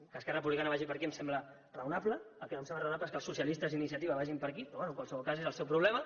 que esquerra republicana vagi per aquí em sembla raonable el que no em sembla raonable és que els socialistes i iniciativa vagin per aquí però bé en qualsevol cas és el seu problema